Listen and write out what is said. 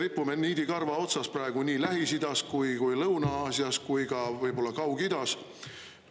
Me ripume niidikarva otsas praegu nii Lähis-Idas kui Lõuna-Aasias kui ka võib-olla Kaug-Idas.